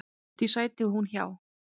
Því sæti hún hjá.